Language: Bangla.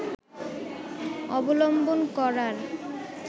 অবলম্বন করার